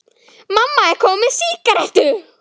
Mamma er komin með sígarettu!